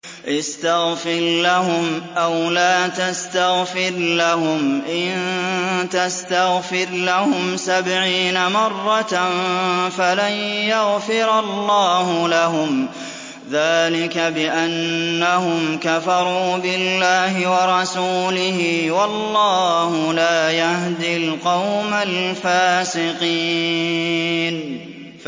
اسْتَغْفِرْ لَهُمْ أَوْ لَا تَسْتَغْفِرْ لَهُمْ إِن تَسْتَغْفِرْ لَهُمْ سَبْعِينَ مَرَّةً فَلَن يَغْفِرَ اللَّهُ لَهُمْ ۚ ذَٰلِكَ بِأَنَّهُمْ كَفَرُوا بِاللَّهِ وَرَسُولِهِ ۗ وَاللَّهُ لَا يَهْدِي الْقَوْمَ الْفَاسِقِينَ